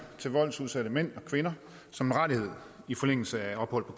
til voldsudsatte mænd og kvinder som en rettighed i forlængelse af et ophold på